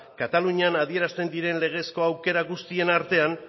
katalunian adierazten diren legezko aukera guztiek artean